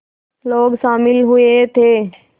लोग शामिल हुए थे